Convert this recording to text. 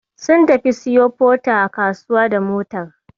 Sun tafi su siyo Porter a kasuwa da motar.